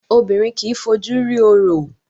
Obìnrin kìí fojú rí orò